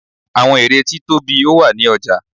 àwọn ère tí tóbi ó wà ní ọja